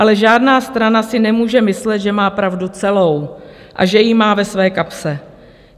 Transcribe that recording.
Ale žádná strana si nemůže myslet, že má pravdu celou a že ji má ve své kapse.